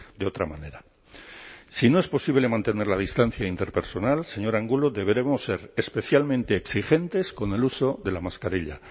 de otra manera si no es posible mantener la distancia interpersonal señor angulo deberemos ser especialmente exigentes con el uso de la mascarilla